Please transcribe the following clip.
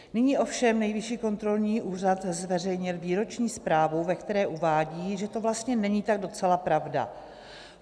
Nyní ovšem Nejvyšší kontrolní úřad zveřejnil výroční zprávu, ve které uvádí, že to vlastně není tak docela pravda.